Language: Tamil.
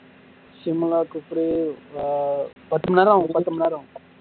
பத்துமணிநேரம் ஆகும் பத்துமணிநேரம் ஆகும்